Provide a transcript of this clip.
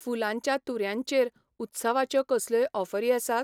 फुुलांच्या तुऱ्यां चेर उत्सवाच्यो कसल्योय ऑफरी आसात ?